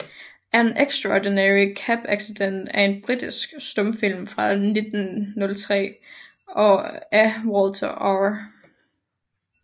An Extraordinary Cab Accident er en britisk stumfilm fra 1903 af Walter R